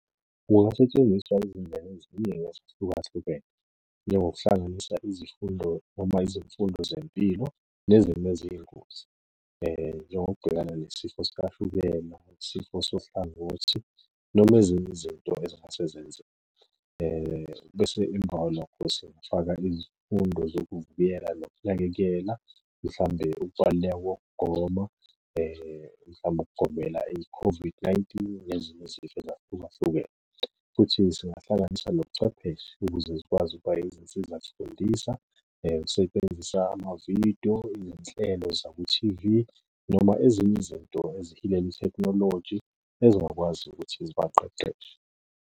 Kungasetshenziswa izindlela eziningi ezahlukahlukene, njengokuhlanganisa izifundo noma izifundo zempilo nezimo eziyingozi. Njengokubhekana nesifo sikashukela, nesifo sohlangothi, noma ezinye izinto ezingase zenzeke. Bese emva kwalokho singafaka izifundo zokuvikela nokunakekela, mhlawumbe ukubaluleka kokugoma, mhlawumbe ukugomela i-COVID-19 nezinye izifo ezahlukahlukene, futhi singahlanganisa nobuchwepheshe ukuze zikwazi ukuba izinsiza zifundisa usebenzisa amavidiyo, iy'nhlelo zakwi-T_V, noma ezinye izinto ezihilela ithekhinoloji ezingakwazi ukuthi zibaqeqeshe.